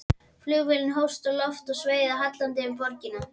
Flugvélin hófst á loft og sveigði hallandi yfir borgina.